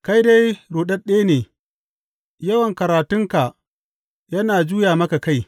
Kai dai ruɗaɗɗe ne, yawan karatunka yana juya maka kai.